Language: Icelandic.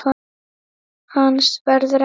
Hans verður ekki saknað.